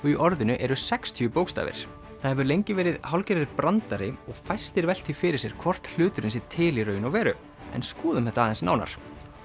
í orðinu eru sextíu bókstafir það hefur lengi verið hálfgerður brandari og fæstir velt því fyrir sér hvort hluturinn sé til í raun og veru en skoðum þetta aðeins nánar